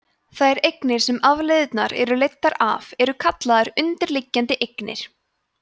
þær eignir sem afleiðurnar eru leiddar af eru kallaðar undirliggjandi eignir